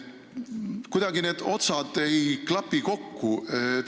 Kuidagi ei klapi need otsad kokku.